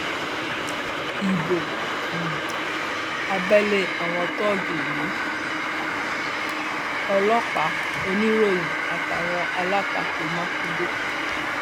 ibo um abẹlé àwọn tóògì lu ọlọpàá oníròyìn àtàwọn alátakò mákindé